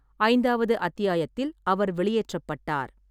ஐந்தாவது அத்தியாயத்தில் அவர் வெளியேற்றப்பட்டார்.